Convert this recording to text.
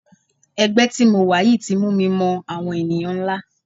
Ẹgbẹ́ tí mo wà yìí ti mú mi mọ àwọn ènìyàn ńlá.